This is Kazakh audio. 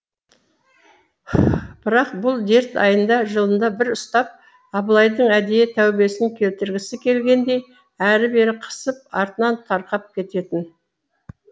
бірақ бұл дерт айында жылында бір ұстап абылайдың әдейі тәубесін келтіргісі келгендей әрі бері қысып артынан тарқап кететін